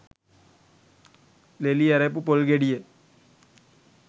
ලෙලි ඇරපු පොල් ගෙඩිය